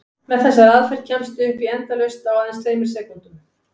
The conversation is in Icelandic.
Með þessari aðferð kemstu upp í endalaust á aðeins tveimur sekúndum!